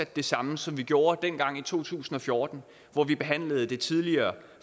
det samme som vi gjorde dengang i to tusind og fjorten hvor vi behandlede det tidligere